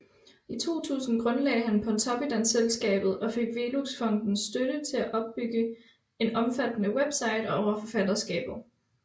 I 2000 grundlagde han Pontoppidan Selskabet og fik Velux Fondens støtte til at opbygge en omfattende website over forfatterskabet